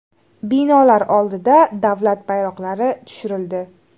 Binolar oldida davlat bayroqlari tushirildi.